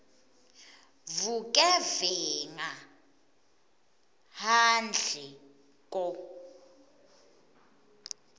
vugevenga handle ko